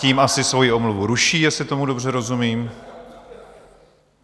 Tím asi svoji omluvu ruší, jestli tomu dobře rozumím.